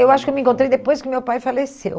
Eu acho que eu me encontrei depois que meu pai faleceu.